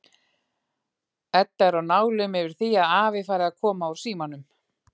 Edda er á nálum yfir því að afi fari að koma úr símanum.